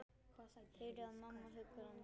Heyri að mamma huggar hann.